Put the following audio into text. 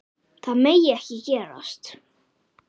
Það megi ekki gerast.